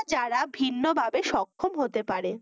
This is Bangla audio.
যারা ভিন্নভাবে সক্ষম হতে পারে